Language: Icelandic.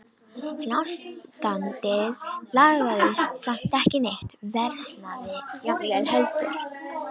En ástandið lagaðist samt ekki neitt, versnaði jafnvel heldur.